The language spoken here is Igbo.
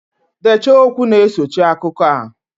Dechaa okwu na-esochi akụkọ a!